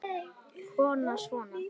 Kona: Svona?